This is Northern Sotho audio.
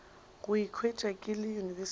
go ikhwetša ke le university